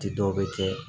Ti dɔw bɛ kɛ